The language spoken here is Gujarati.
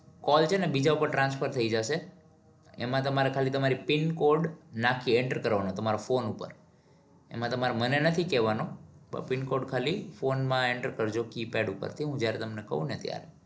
call છે ને બીજા ઉપર transfer થઇ જશે. એમાં તમારે ખાલી pincode નાખીને enter કરવાનો તમારા phone ઉપર. એમાં તમારે મને નથી કેવાનો પણ pincode ખાલી phone માં enter કરજો keypad ઉપર કે જયારે હું તમને કવ ને ત્યારે.